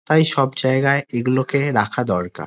তাই সব জায়গায় এগুলোকে রাখা দরকার।